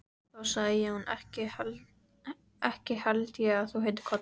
Þá sagði Jón: Ekki held ég að þú heitir Kollur.